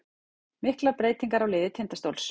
Miklar breytingar á liði Tindastóls